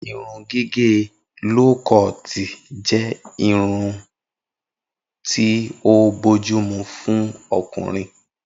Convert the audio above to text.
Irun gígè ló koọ̀tì jé irú irun tí o bójúmu fún okùnrin